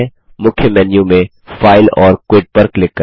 मुख्य मेन्यू में फाइल और क्विट पर क्लिक करें